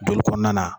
Joli kɔnɔna na